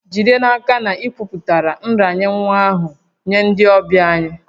Jide n'aka na ị kwupụtara nranye nwa ahụ nye ndị ọbịa anyị